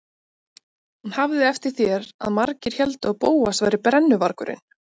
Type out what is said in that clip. Hún hafði eftir þér að margir héldu að Bóas væri brennuvargurinn.